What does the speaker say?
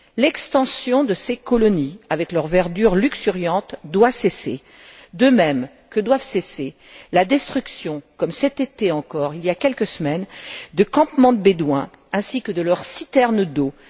L'extension de ces colonies avec leur verdure luxuriante doit cesser, de même que doit cesser la destruction, comme cet été encore, il y a quelques semaines, de campements de bédouins ainsi que de leurs citernes d'eau.